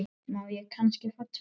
Má ég kannski fá tvö?